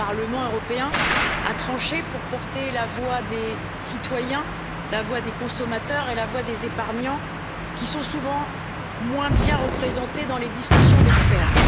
Le Parlement a tranché pour porter la voix des citoyens, des consommateurs, et des épargnants, qui sont souvent moins bien représentés dans les discussions d'experts.